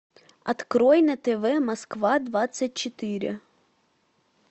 открой на тв москва двадцать четыре